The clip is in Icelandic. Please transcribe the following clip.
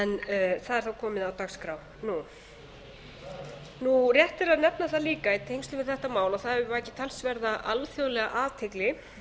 fyrra en það er þá komið á dagskrá nú rétt er að nefna það líka í tengslum við þetta mál að það hefur vakið talsverða alþjóðlega athygli